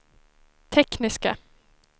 tekniska